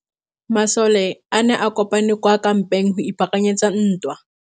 Masole a ne a kopane kwa kampeng go ipaakanyetsa ntwa.